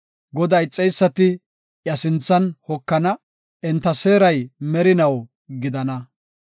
Godaa ixeysati iya sinthan hokana; enta seeray merinaw gidana.